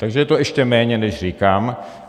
Takže je to ještě méně, než říkám.